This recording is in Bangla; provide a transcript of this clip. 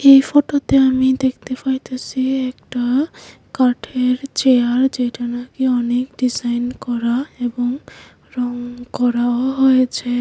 এই ফটোতে আমি দেখতে ফাইতাসি একটা কাঠের চেয়ার যেটা নাকি অনেক ডিজাইন করা এবং রং করাও হয়েছে।